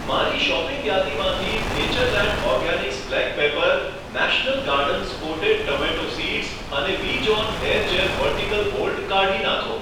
મારી શોપિંગ યાદીમાંથી Natureland organics black pepper, national gardens potted tomato seeds અને Vi John hair gel vertical hold કાઢી નાંખો.